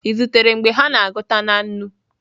Ị zutere mgbe ha na-agụta na nnu?